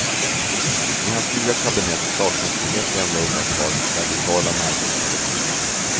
I hans nya kabinett saknas med ett enda undantag radikala marknadsanhängare.